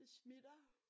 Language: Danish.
Det smitter!